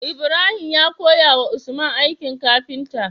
Ibrahim ya koya wa usman aikin kafinta